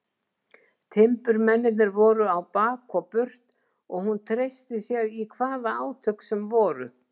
Timburmennirnir voru á bak og burt og hún treysti sér í hvaða átök sem voru.